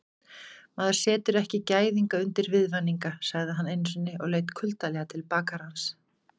Maður setur ekki gæðinga undir viðvaninga, sagði hann einusinni og leit kuldalega til bakarans.